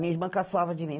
Minha irmã caçoava de mim.